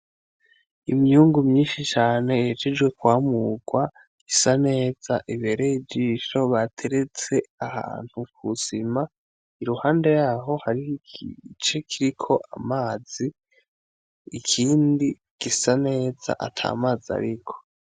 Imyungu myinshi cane ihejejwe kwamurwa, isa neza ibereye ijisho bateretse ahantu kusima, iruhande yaho harih'igice kiriko amazi ,ikindi gisa neza atamazi ariko.